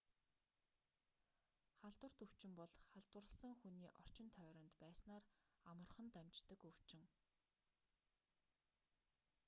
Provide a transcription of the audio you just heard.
халдварт өвчин бол халдварласан хүний орчин тойронд байснаар амархан дамждаг өвчин